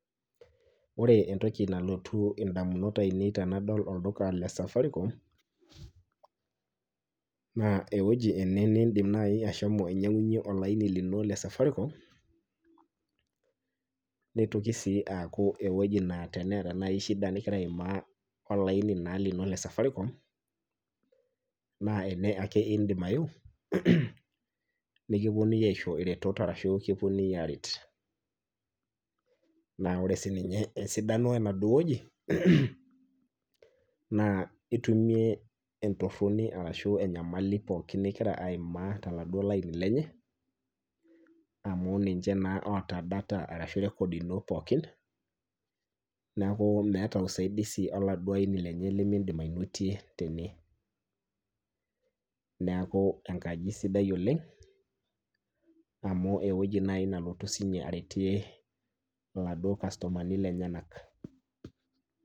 Ore entoki nalotu ndamunot ainei tenadol olduka le safaricom, naa eweji ene nindim naaji ashomo ainyang'unyie olaini lino le safaricom, nitoki sii aku teneeta shida naaji ning'ira aimaa olaini lino le safaricom naa ene ake indim ayieu nikiponunui aisho iretot ashu kiponunui aret, naa ore sii ninye sidano enaduo wueji naa itumie entoroni pookin ashu enyamali ning'ira aimaa tolaini lenye amu ninche naa oota data ashu records ino pookin, neeku meeta usaidizi oladuo aini lenye nimindim anotie tene .neeku enkaji sidai oleng' amu eweji naaji nelotu sii ninye aretie oladuo customer ni lenyenak.